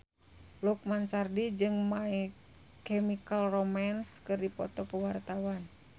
Lukman Sardi jeung My Chemical Romance keur dipoto ku wartawan